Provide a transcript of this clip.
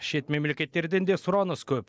шет мемлекеттерден де сұраныс көп